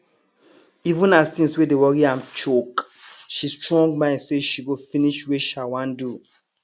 even as things wey dey worry am choke she strong mind say she go finish wey sha wan do